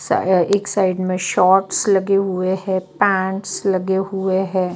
एक साइड में शॉर्ट्स लगे हुए हैं पैंट्स लगे हुए हैं।